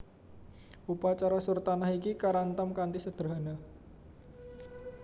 Upacara surtanah iki karantam kanthi sederhana